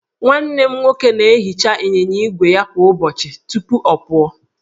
Nwanne m nwoke na-ehicha ịnyịnya ígwè ya kwa ụbọchị tupu ọ pụọ